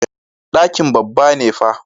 Ɗakin babba ne fa.